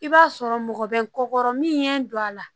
I b'a sɔrɔ mɔgɔ bɛ n kɔ min ye n don a la